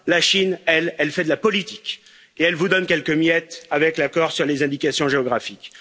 la Chine, elle, fait de la politique et elle vous donne quelques miettes avec l'accord sur les indications géographiques.